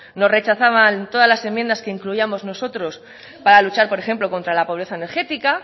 nos rechazaban todas las enmiendas que incluíamos nosotros para luchar por ejemplo contra la pobreza energética